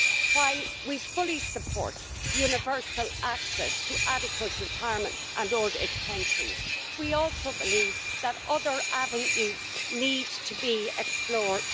While we fully support universal access to adequate retirement and old age pensions, we also believe that other avenues need to be explored.